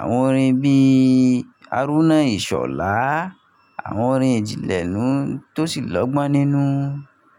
àwọn orin bíi "Arúná Ìṣọ̀lá", àwọn orin ìjìnlẹ̀ nn tó sì lọ́gbọ́n nínú.